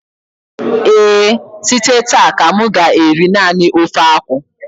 ee, site taa ka m ga-eri nani ofe akwụ